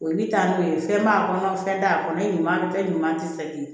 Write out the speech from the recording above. O bɛ taa n'o ye fɛn b'a kɔnɔ fɛn t'a kɔnɔ ye ɲuman fɛn ɲuman tɛ se